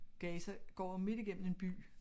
Gaza går midt igennem en by